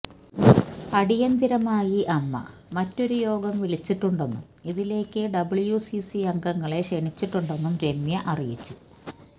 അടിയന്തിരമായി അമ്മ മറ്റൊരു യോഗം വിളിച്ചിട്ടുണ്ടെന്നും ഇതിലേക്ക് ഡബ്ല്യൂസിസി അംഗങ്ങളെ ക്ഷണിച്ചിട്ടുണ്ടെന്നും രമ്യ അറിയിച്ചു